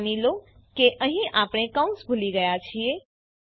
માની લો કે અહીં આપણે કૌંસ ભૂલી ગયા છીએ